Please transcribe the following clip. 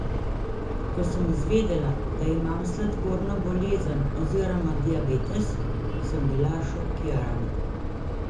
Ko sem izvedela, da imam sladkorno bolezen oziroma diabetes, sem bila šokirana.